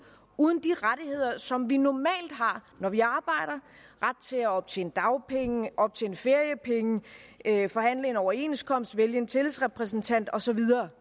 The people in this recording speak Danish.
uden de rettigheder som vi normalt har når vi arbejder ret til at optjene dagpenge optjene feriepenge forhandle en overenskomst vælge en tillidsrepræsentant og så videre